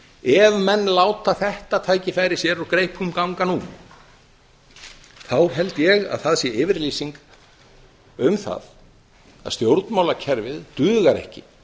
ef menn láta þetta tækifæri sér úr greipum ganga nú held ég að það sé yfirlýsing um að stjórnmálakerfið dugar ekki